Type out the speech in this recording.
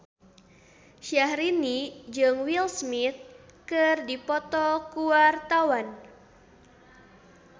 Syahrini jeung Will Smith keur dipoto ku wartawan